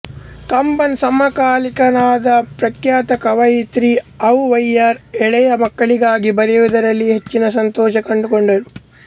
ಕಂಬನ್ ಸಮಕಾಲೀನರಾದ ಪ್ರಖ್ಯಾತ ಕವಯಿತ್ರಿ ಅವುವೈಯಾರ್ ಎಳೆಯ ಮಕ್ಕಳಿಗಾಗಿ ಬರೆಯುವುದರಲ್ಲಿ ಹೆಚ್ಚಿನ ಸಂತೋಷ ಕಂಡು ಕೊಂಡರು